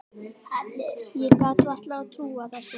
Ég gat varla trúað þessu.